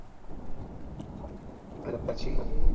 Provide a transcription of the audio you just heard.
અને પછી